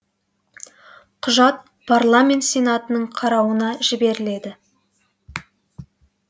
құжат парламент сенатының қарауына жіберіледі